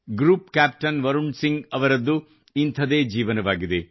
group captain Varun Singh ಅವರದ್ದು ಇಂಥದೇ ಜೀವನವಾಗಿದೆ